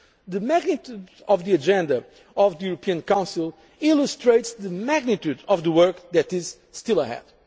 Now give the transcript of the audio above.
The magnitude of the agenda of the European Council illustrates the magnitude of the work that is still